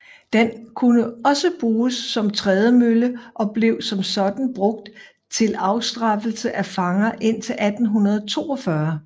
Den kunne også bruges som trædemølle og blev som sådan brugt til afstraffelse af fanger indtil 1842